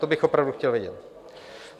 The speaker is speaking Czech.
To bych opravdu chtěl vědět.